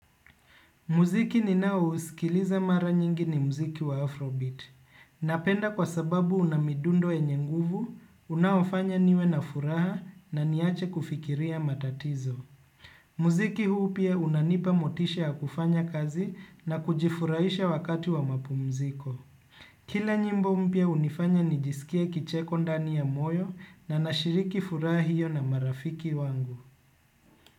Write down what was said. Muziki ninao huskiliza mara nyingi ni muziki wa Afrobeat. Muziki ninao huskiliza mara nyingi ni muziki wa Afrobeat. Muziki huu pia unanipa motisha ya kufanya kazi na kujifurahisha wakati wa mapu mziko. Kila nyimbo mya hunifanya nijisikie kicheko ndani ya moyo na nashiriki furaha hiyo na marafiki wangu.